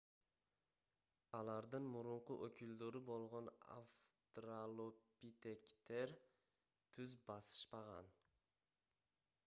алардын мурунку өкүлдөрү болгон австралопитектер түз басышпаган